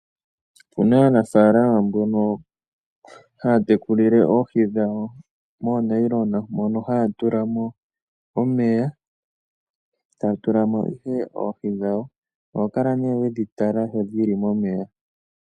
Opuna aanafaalama mbono haya tekulile oohi dhawo moonayilona, mono haya tula mo omeya, taya tula mo ihe oohi dhawo. Oho kala nee wedhi tala sho dhili momeya.